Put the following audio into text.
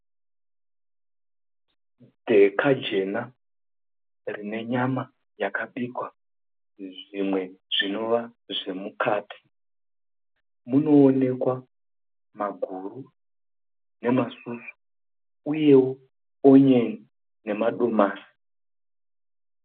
Dheka jena rine nyama yakabikwa, zvimwe zvinova zvemukati, munoonekwa maguru nemasusu uyewo onion nemadomasi.